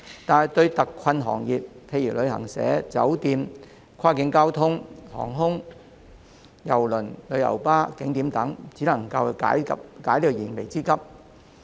然而，對於特困行業，例如旅行社、酒店、跨境交通、航空、郵輪、旅遊巴士及景點等，卻只能解燃眉之急。